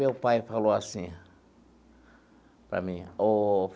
Meu pai falou assim para mim. Ooo.